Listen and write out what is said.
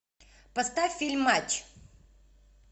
поставь фильм матч